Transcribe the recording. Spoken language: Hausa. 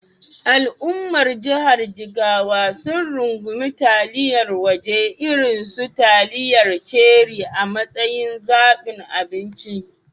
Al’ummar jihar Jigawa sun rungumi taliyar waje irin su taliyar Cherie a matsayin zabin abinci.